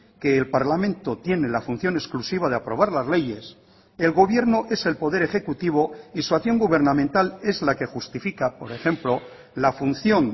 que el parlamento tiene la función exclusiva de aprobar las leyes el gobierno es el poder ejecutivo y su acción gubernamental es la que justifica por ejemplo la función